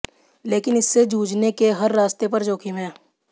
लेकिन इससे जूझने के हर रास्ते पर जोखिम है